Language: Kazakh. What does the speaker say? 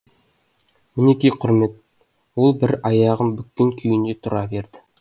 мінеки құрмет ол бір аяғын бүккен күйінде тұра берді